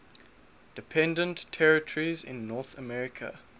dependent territories in north america